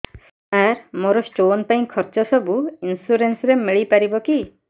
ସାର ମୋର ସ୍ଟୋନ ପାଇଁ ଖର୍ଚ୍ଚ ସବୁ ଇନ୍ସୁରେନ୍ସ ରେ ମିଳି ପାରିବ କି